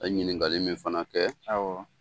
A ye ɲinikali min fana kɛ, awɔ.